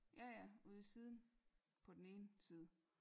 Ja ja ude i siden på den ene side